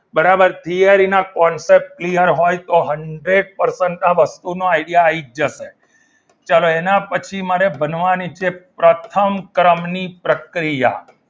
બરાબર છે થીયરીના concept ક્લિયર હોય તો હન્ડ્રેડ percent આ વસ્તુનો idea આવી જ જશે ચલો એના પછી મારે બનવાની છે પ્રથમ ક્રમની પ્રક્રિયા